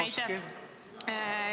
Aitäh!